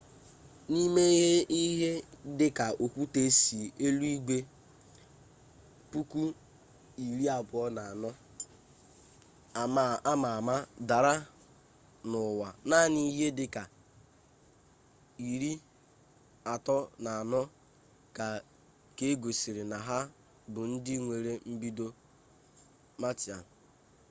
n'ime ihe dị ka okwute si eluigwe 24,000 ama ama dara na ụwa naanị ihe dị ka 34 ka egosiri na ha bụ ndị nwere mbido martian